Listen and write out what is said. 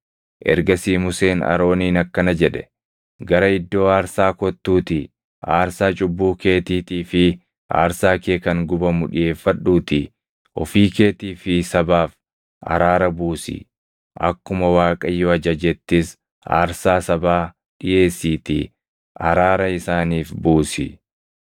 Ergasii Museen Arooniin akkana jedhe; “Gara iddoo aarsaa kottuutii aarsaa cubbuu keetiitii fi aarsaa kee kan gubamu dhiʼeeffadhuutii ofii keetii fi sabaaf araara buusi; akkuma Waaqayyo ajajettis aarsaa sabaa dhiʼeessiitii araara isaaniif buusi.”